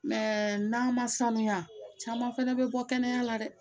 Mɛ n'an ma sanuya caman fana bɛ bɔ kɛnɛya la dɛ